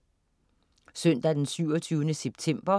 Søndag den 27. september